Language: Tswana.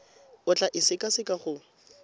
o tla e sekaseka go